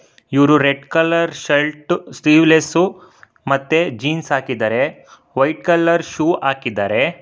ಇವ್ರು red colour shirt sleeveless ಮತ್ತೆ jeans ಹಾಕಿದಾರೆ ವೈಟ್ ಕಲರ್ ಶೂ ಹಾಕಿದ್ದಾರೆ.